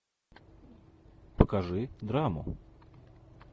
покажи драму